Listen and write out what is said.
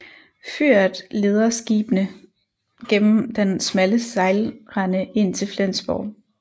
Fyret leder skibene gennem den smalle sejlrende ind til Flensborg